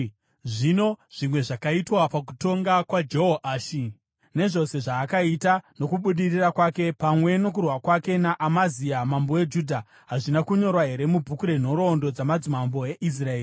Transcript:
Zvino zvimwe zvakaitwa pakutonga kwaJehoashi, nezvose zvaakaita, nokubudirira kwake, pamwe nokurwa kwake naAmazia mambo weJudha, hazvina kunyorwa here mubhuku renhoroondo dzamadzimambo eIsraeri?